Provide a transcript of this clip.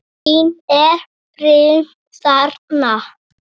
Elín, er reimt þarna?